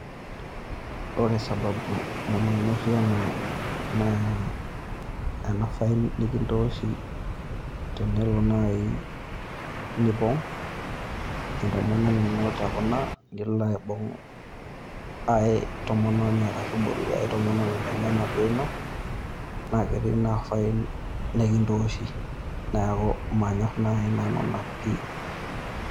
Ore sababu namanyorrie ena naa ina fine nikintooshi tenelo naai nipong' entomononi ino tekuna nilo aibung' ai tomononi arashu ibolu ai tomononi nemenaduo ino naa ketii naa fine nikintooshi, neeku manyorr nai nanu ina pii.